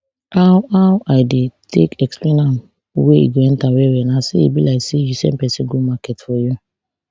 how how i dey take explain am wey e go enta wellwell na say e be like say you send pesin go market for you